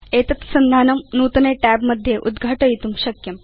भवान् एतत् संधानं नूतने tabमध्ये उद्घाटयितुं शक्नोति